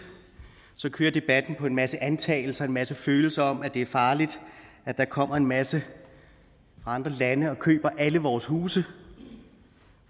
kører debatten på en masse antagelser og en masse følelser om at det er farligt at der kommer en masse fra andre lande og køber alle vores huse